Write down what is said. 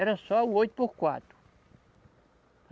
Era só o oito por quatro.